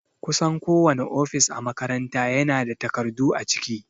Kusan kowane ofis a makaranta ya na da takardu a ciki